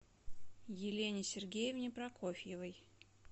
елене сергеевне прокофьевой